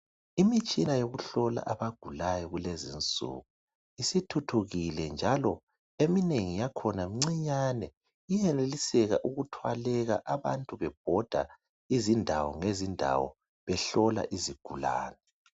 Imitshina yokuhlola abagulayo kulezinsuku isithuthukile njalo eminengi yakhona mncinyane. Iyaneliseka ukuthwaleka abantu bebhoda izindawo ngezindawo behlola izigulane.